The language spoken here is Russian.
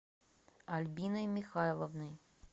альбиной михайловной